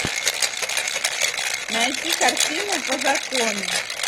найти картину по закону